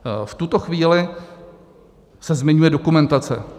V tuto chvíli se zmiňuje dokumentace.